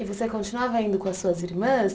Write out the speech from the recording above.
E você continuava indo com as suas irmãs?